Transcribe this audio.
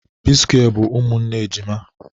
p square bu umunne ejima